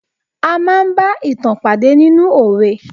A máa bá ìtàn pàdé nínú òwe.